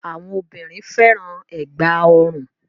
Awọn obìnrin fẹ́ràn ẹ̀gbá-ọrùn.